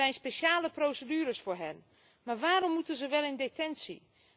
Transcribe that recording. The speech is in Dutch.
Er zijn speciale procedures voor hen. Maar waarom moeten ze wel in detentie?